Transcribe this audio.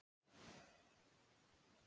Ég ákvað að velja þann dag.